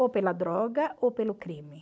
Ou pela droga ou pelo crime.